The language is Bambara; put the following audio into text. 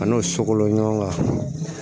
A n'o sokolo ɲɔgɔn kan